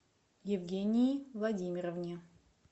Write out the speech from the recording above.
евгении владимировне